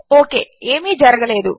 okay ఏమీ జరగలేదు